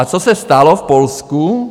A co se stalo v Polsku?